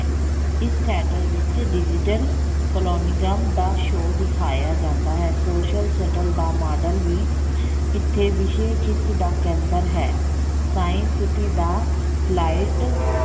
ਇਸ theater ਵਿੱਚ digital ਦਾ show ਦਿਖਾਇਆ ਜਾਂਦਾ ਹੈ। social ਦਾ ਮਾਡਲ ਵੀ ਇੱਥੇ ਖਿੱਚ ਦਾ ਕੇਂਦਰ ਹੈ science city ਦਾ flight